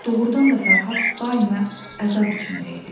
Doğrudan da Fərhad daima əzab içində idi.